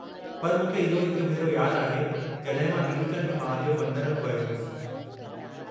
पर मूंखे इहो हिक भेरो यादु आहे जॾहिं मां नीलकंठ महादेव मंदरु में वयो होसि।